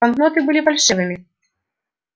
банкноты были фальшивыми